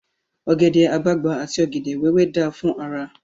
Ògẹ̀dè àgbagbà àti ògèdè wéwé dáa fún ara.